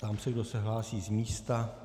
Ptám se, kdo se hlásí z místa.